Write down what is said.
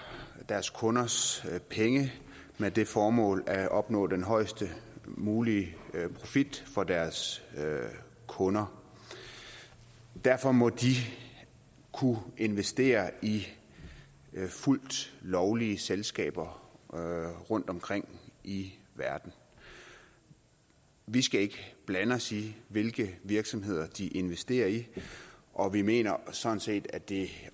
deres kunders penge med det formål at opnå den højest mulige profit for deres kunder derfor må de kunne investere i fuldt lovlige selskaber rundtomkring i verden vi skal ikke blande os i hvilke virksomheder de investerer i og vi mener sådan set at det